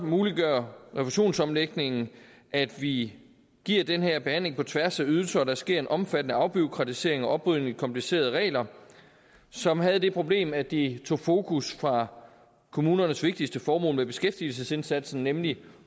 muliggør refusionsomlægningen at vi giver den her behandling på tværs af ydelser og der sker en omfattende afbureaukratisering og oprydning komplicerede regler som havde det problem at de tog fokus fra kommunernes vigtigste formål med beskæftigelsesindsatsen nemlig